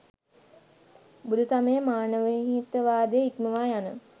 බුදුසමය මානවහිතවාදය ඉක්මවා යන